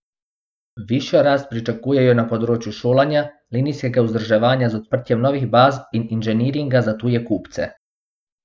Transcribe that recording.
Višjo rast pričakujejo na področju šolanja, linijskega vzdrževanja z odprtjem novih baz in inženiringa za tuje kupce.